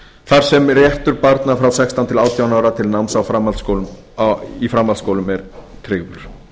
þar sem réttur barna frá sextán til átján ára til náms í framhaldsskólum er tryggður í